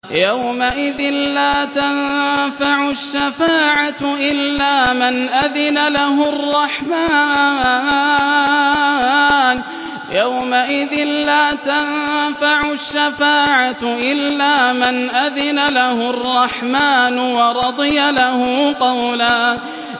يَوْمَئِذٍ لَّا تَنفَعُ الشَّفَاعَةُ إِلَّا مَنْ أَذِنَ لَهُ الرَّحْمَٰنُ وَرَضِيَ لَهُ قَوْلًا